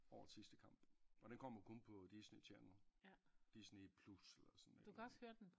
Årets sidste kamp og den kommer kun på Disney Channel Disney Plus eller sådan et eller andet